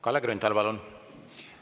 Kalle Grünthal, palun!